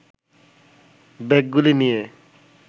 ব্যাগগুলি নিয়ে